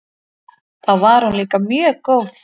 Þá var hún líka mjög góð.